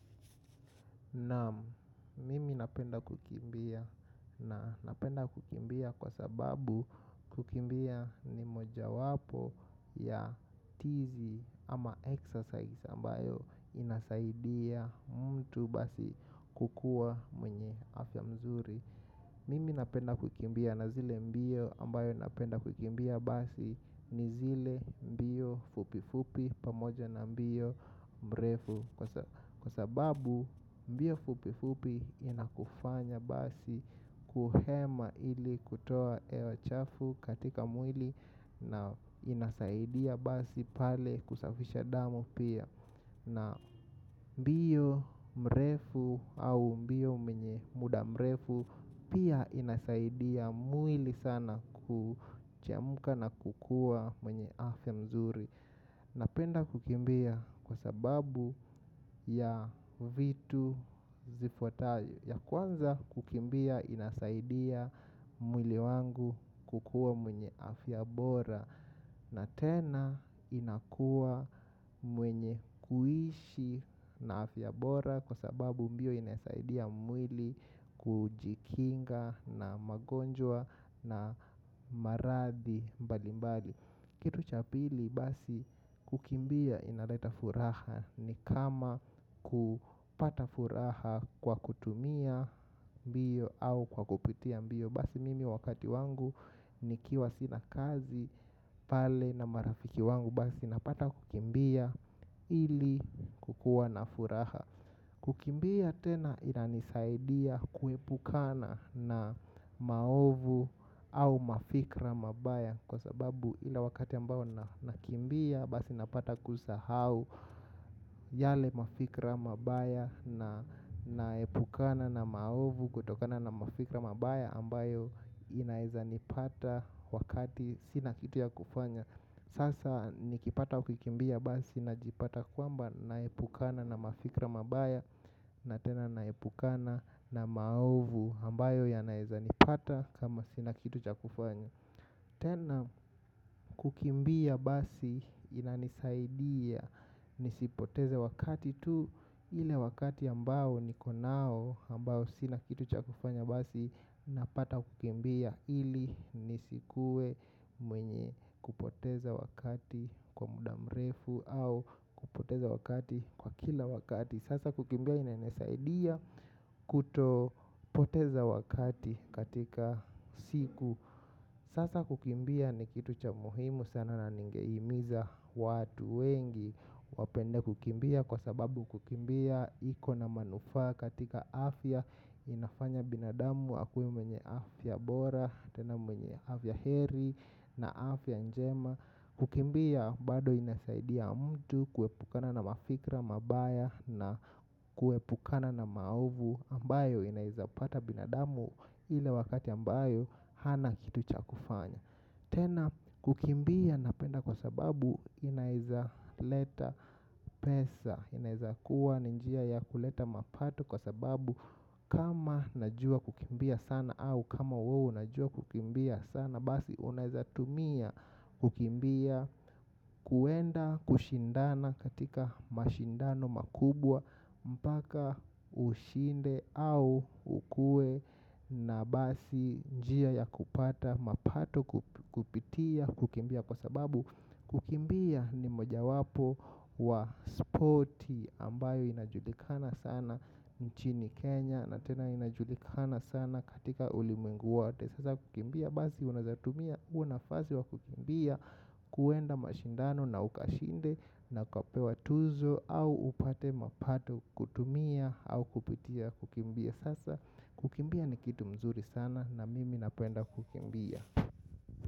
Na mimi napenda kukimbia na napenda kukimbia kwa sababu kukimbia ni moja wapo ya tizi ama exercise ambayo inasaidia mtu basi kukuwa mwenye afya mzuri. Mimi napenda kukimbia na zile mbio ambayo napenda kukimbia basi ni zile mbio fupifupi pamoja na mbio mrefu. Kwa sababu mbio fupifupi inakufanya basi kuhema ili kutoa hewa chafu katika mwili na inasaidia basi pale kusafisha damu pia. Naam. Mbio mrefu au mbio mwenye muda mrefu pia inasaidia mwili sana kuchemuka na kukuwa mwenye afya mzuri. Napenda kukimbia kwa sababu ya vitu zifwatayo. Ya kwanza kukimbia inasaidia mwili wangu kukuwa mwenye afya bora. Na tena inakuwa mwenye kuishi na afya bora kwa sababu mbio inasaidia mwili kujikinga na magonjwa na maradhi mbali mbali. Kitu cha pili basi kukimbia inaleta furaha ni kama kupata furaha kwa kutumia mbio au kwa kupitia mbio. Basi mimi wakati wangu nikiwa sina kazi pale na marafiki wangu basi napata kukimbia ili kukuwa na furaha. Kukimbia tena inanisaidia kuepukana na maovu au mafikra mabaya kwa sababu ile wakati ambao nakimbia basi napata kusahau. Yale mafikra mabaya na naepukana na maovu kutokana na mafikra mabaya ambayo inaeza nipata wakati sina kitu ya kufanya. Sasa nikipata kukimbia basi najipata kwamba naepukana na mafikra mabaya. Na tena naepukana na maovu ambayo yanaeza nipata kama sina kitu cha kufanya. Tena kukimbia basi inanisaidia nisipoteze wakati tu. Ile wakati ambao niko nao ambao sina kitu cha kufanya basi napata kukimbia ili nisikuwe mwenye kupoteza wakati kwa muda mrefu au kupoteza wakati kwa kila wakati. Sasa kukimbia inanisaidia kutopoteza wakati katika siku. Sasa kukimbia ni kitu cha muhimu sana na ningehimiza watu wengi wapende kukimbia kwa sababu kukimbia iko na manufaa katika afya. Inafanya binadamu akuwe mwenye afya bora tena mwenye afya heri na afya njema. Kukimbia bado inasaidia mtu kuepukana na mafikra mabaya na kuepukana na maovu ambayo inaeza pata binadamu ile wakati ambayo hana kitu cha kufanya. Tena kukimbia napenda kwa sababu inaeza leta pesa, inaeza kuwa ni njia ya kuleta mapato kwa sababu kama najua kukimbia sana au kama wewe unajua kukimbia sana basi unaezatumia kukimbia kwenda kushindana katika mashindano makubwa mpaka ushinde au ukuwe na basi njia ya kupata mapato kupitia kukimbia kwa sababu kukimbia ni moja wapo wa sporti ambayo inajulikana sana nchini Kenya na tena inajulikana sana katika ulimwengu wote. Sasa kukimbia, basi unaezatumia huo nafasi wa kukimbia kuenda mashindano na ukashinde na ukapewa tuzo au upate mapato kutumia au kupitia kukimbia sasa kukimbia ni kitu mzuri sana na mimi napenda kukimbia.